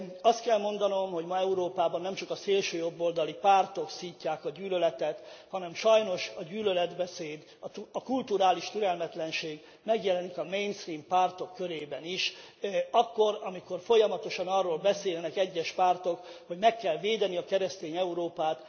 Azt kell mondanom, hogy ma Európában nem csak a szélsőjobboldali pártok szítják a gyűlöletet, hanem sajnos a gyűlöletbeszéd, a kulturális türelmetlenség megjelenik a mainstream pártok körében is akkor, amikor folyamatosan arról beszélnek egyes pártok, hogy meg kell védeni a keresztény Európát.